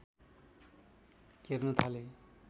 घेर्न थाले